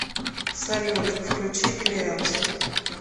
салют включить леос